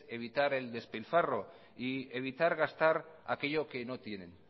evitar el despilfarro y evitar gastar aquello que no tienen